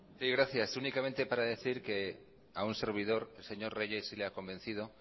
zurea da hitza sí gracias únicamente para decir a un servidor señor reyes le ha convencido